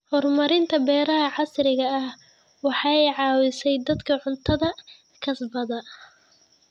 Horumarinta beeraha casriga ah waxay caawisaa dadka cuntada kasbada.